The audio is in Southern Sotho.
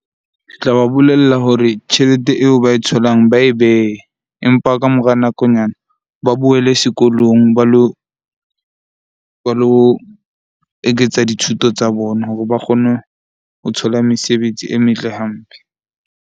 Ke tla ba bolella hore tjhelete eo ba e tholang ba e behe. Empa ka mora nakonyana ba boele sekolong ba lo eketsa dithuto tsa bona hore ba kgone ho thola mesebetsi e metle hampe.